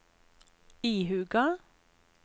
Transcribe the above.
ihuga